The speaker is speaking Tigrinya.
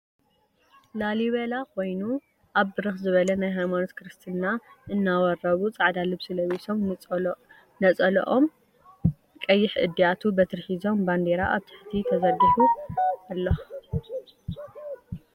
ላሊበላ ኮይኑ ኣብ ብርክ ዝበለ ናይ ሃይማኖት ክርስትና እናወርቡ ፃዕዳ ልብሲ ለቢሶም ንፀሎኦም ቀይሕ እድያቱ ብትሪ ሒዞም ባንዴራ ኣብ ትሕቲኦም ተዝርጊሑ ኣሎ ።